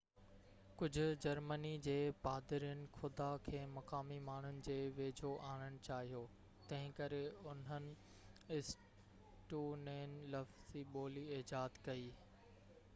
ڪجهہ جرمني جي پادرين خدا کي مقامي ماڻهن جي ويجهو آڻڻ چاهيو تنهنڪري انهن اسٽونين لفظي ٻولي ايجاد ڪئي